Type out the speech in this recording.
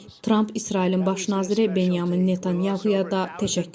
Tramp İsrailin baş naziri Benyamin Netanyahaya da təşəkkür edib.